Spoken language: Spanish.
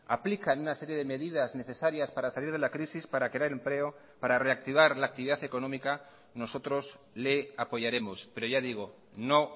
aplican una serie de medidas necesarias para salir de la crisis para crear empleo para reactivar la actividad económica nosotros le apoyaremos pero ya digo no